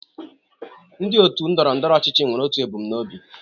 Ndị otu ndọrọ ndọrọ ọchịchị nwere otu ebumnuche.